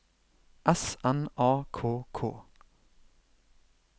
S N A K K